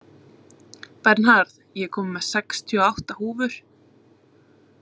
Bernharð, ég kom með sextíu og átta húfur!